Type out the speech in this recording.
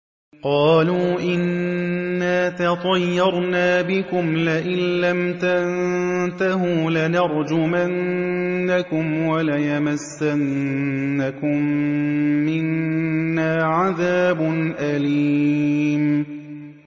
قَالُوا إِنَّا تَطَيَّرْنَا بِكُمْ ۖ لَئِن لَّمْ تَنتَهُوا لَنَرْجُمَنَّكُمْ وَلَيَمَسَّنَّكُم مِّنَّا عَذَابٌ أَلِيمٌ